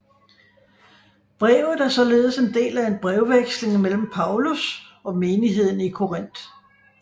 Brevet er således en del af en brevveksling mellem Paulus og menigheden i Korinth